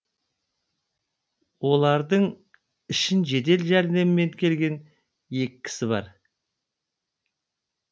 олардың ішін жедел жәрдеммен келген екі кісі бар